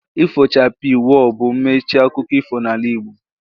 Ifo chapii, woo! bụ mmechi akụkọ ifo n'ala Igbo